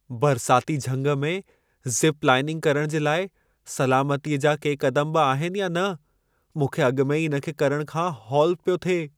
बरसाती झंग में ज़िप-लाइनिंग करण जे लाइ सलामतीअ जा के क़दम बि आहिनि या न? मूंखे अॻि में ई इन खे करण खां हौल पियो थिए।